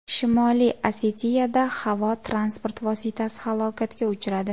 Shimoliy Osetiyada havo transport vositasi halokatga uchradi.